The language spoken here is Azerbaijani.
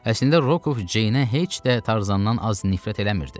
Əslində Rokov Ceynə heç də Tarzandan az nifrət eləmirdi.